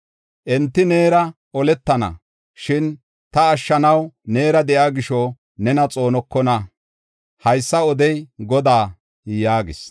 Enti neera oletana; shin ta ashshanaw neera de7iya gisho nena xoonokona. Haysa odey Godaa” yaagis.